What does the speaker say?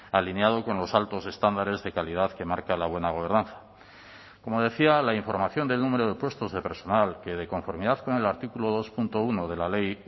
alineado con los altos estándares de calidad que marca la buena gobernanza como decía la información del número de puestos de personal que de conformidad con el artículo dos punto uno de la ley